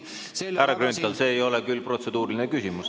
Härra Grünthal, see ei ole küll protseduuriline küsimus.